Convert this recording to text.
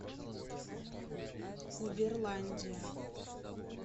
уберландия